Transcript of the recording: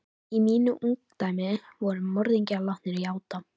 Í mínu ungdæmi voru morðingjar látnir játa.